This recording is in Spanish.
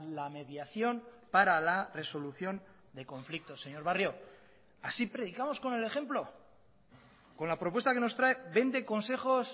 la mediación para la resolución de conflictos señor barrio así predicamos con el ejemplo con la propuesta que nos trae vende consejos